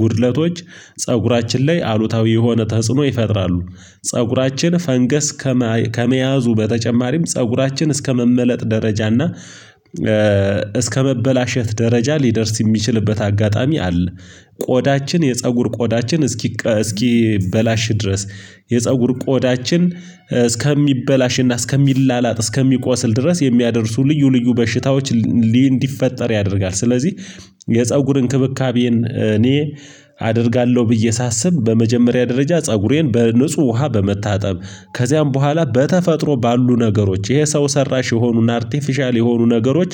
ጉድለቶች ፀጉራችን ላይ አሉታዊ የሆነ ተጽዕኖ ይፈጥራሉ። ፀጉራችን ፈንገስ ከመያዙ በተጨማሪም ፀጉራችን እስከመመለጥ ደረጃ እና እስከመበላሸት ደረጃ ሊደርስ የሚችልበት አጋጣሚ አለ። ቆዳችን የፀጉር ቆዳችን እስኪ እስኪበላሽ ድረስ የፀጉር ቆዳችን እስከሚበላሽና እስከሚላላጥ እስከሚቆስል ድረስ የሚያደርሱ ልዩ ልዩ በሽታዎች እንዲፈጠር ያደርጋል ስለዚህ የፀጉር እንክብካቤን እኔ አደርጋለሁ። ብዬ ሳስብ በመጀመሪያ ደረጃ ፀጉሬን በንጹህ ውሃ በመታጠብ ከዚያም በኋላ በተፈጥሮ ባሉ ነገሮች ይሄ ሰው ሰራሽ የሆኑን አርቴፊሻል የሆኑ ነገሮች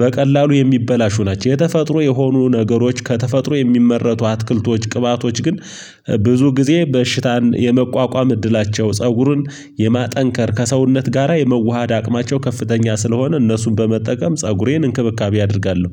በቀላሉ የሚበላሹ ናቸው። የተፈጥሮ የሆኑ ነገሮች ከተፈጥሮ የሚመረቱ አትክልቶች ቅባቶች ግን ብዙ ጊዜ በሽታን የመቋቋም እድላቸው ፀጉሩን የማጠንከር ከሰውነት ጋራ የመዋሃድ አቅማቸው ከፍተኛ ስለሆነ እነሱን በመጠቀም ፀጉሬን እንክብካቤ አደርጋለሁ።